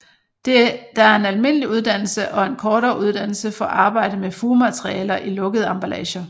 Der er en almindelig uddannelse og en kortere uddannelse for arbejde med fugematerialer i lukkede emballager